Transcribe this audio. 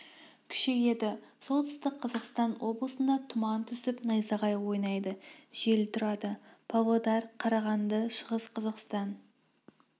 күшейеді солтүстік қазақстан облысында тұман түсіп найзағай ойнайды жел тұрады павлодар карағанды шығыс қазақстан